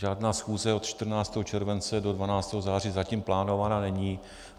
Žádná schůze od 14. července do 12. září zatím plánována není.